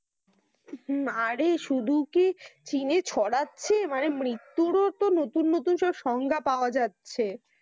আরে শুধু কি চীনে ছড়াচ্ছে মৃত্যুরো তো নতুন নতুন সংখ্যা পাওয়া যাচ্ছে।